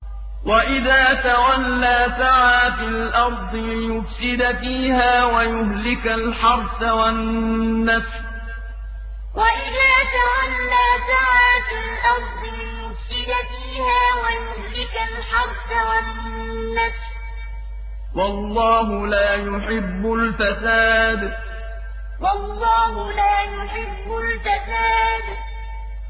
وَإِذَا تَوَلَّىٰ سَعَىٰ فِي الْأَرْضِ لِيُفْسِدَ فِيهَا وَيُهْلِكَ الْحَرْثَ وَالنَّسْلَ ۗ وَاللَّهُ لَا يُحِبُّ الْفَسَادَ وَإِذَا تَوَلَّىٰ سَعَىٰ فِي الْأَرْضِ لِيُفْسِدَ فِيهَا وَيُهْلِكَ الْحَرْثَ وَالنَّسْلَ ۗ وَاللَّهُ لَا يُحِبُّ الْفَسَادَ